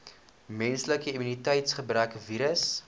menslike immuniteitsgebrekvirus